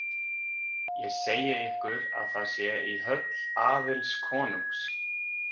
Ég segi ykkur að það sé í höll Aðils konungs.